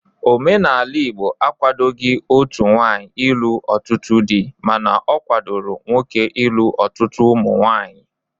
Omenala Igbo akwadoghị otu nwaanyị ịlụ ọtụtụ di mana ọ kwadoro nwoke ilu ọtụtụ ụmụnwaanyị